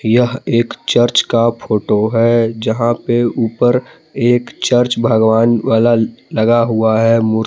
यह एक चर्च का फोटो है जहां पे ऊपर एक चर्च भगवान वाला लगा हुआ है मूर--